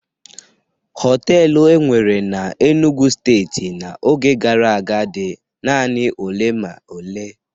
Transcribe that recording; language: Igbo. Họtelu enwere na Enugwu Steeti n'oge gara aga dị naanị ole ma ole.